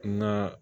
N ga